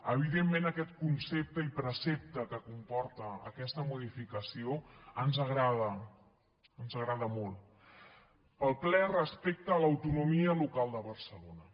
evidentment aquest concepte i precepte que comporta aquesta modificació ens agrada ens agrada molt pel ple respecte a l’autonomia local de barcelona